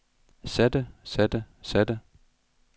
satte satte satte